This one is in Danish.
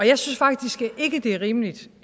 jeg synes faktisk ikke det er rimeligt